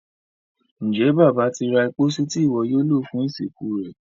Njé Bàbá tí ra pósí Ti iwọ yóò lo fún ìsìnkú rẹ?